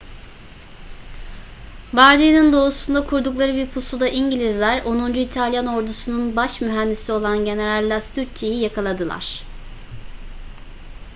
bardia'nın doğusunda kurdukları bir pusuda i̇ngilizler onuncu i̇talyan ordusunun baş mühendisi olan general lastucci'yi yakaladılar